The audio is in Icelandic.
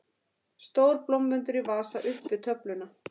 Stór blómvöndur í vasa upp við töfluna.